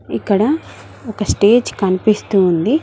ఇక్కడ ఒక స్టేజ్ కనిపిస్తు ఉంది.